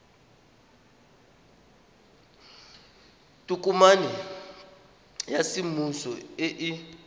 tokomane ya semmuso e e